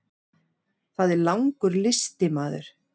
Það er langur listi maður.